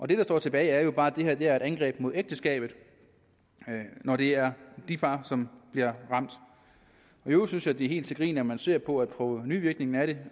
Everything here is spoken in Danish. det der står tilbage er jo bare det er et angreb på ægteskabet når det er de par som bliver ramt i øvrigt synes jeg det er helt til grin når man ser på provenuvirkningen af det